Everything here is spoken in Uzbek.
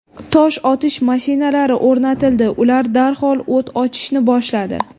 Tosh otish mashinalari o‘rnatildi, ular darhol o‘t ochishni boshladi.